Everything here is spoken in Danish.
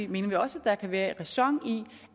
mener vi også at der kan være ræson i